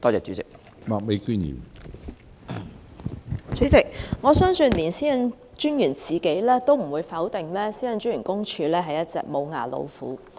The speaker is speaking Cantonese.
主席，我相信連專員自己也不會否定公署是一隻"無牙老虎"。